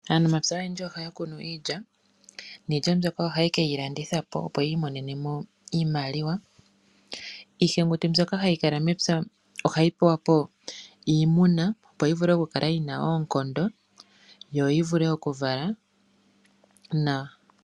Aanamapya oyendji ohaya kunu iilya niilya mbyoka ohaye ke yi landitha po, opo yi imonene iimaliwa. Iihenguti mbyoka hayi kala mepya ohayi pewa po iimuna, opo yi vule okukala yi na oonkondo yo yi vule okuvala nawa.